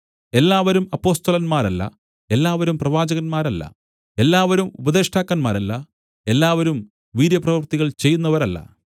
എല്ലാവരും അപ്പൊസ്തലന്മാരല്ല എല്ലാവരും പ്രവാചകന്മാരല്ല എല്ലാവരും ഉപദേഷ്ടാക്കന്മാരല്ല എല്ലാവരും വീര്യപ്രവൃത്തികൾ ചെയ്യുന്നവരല്ല